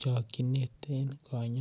chokchinet en konyoiset.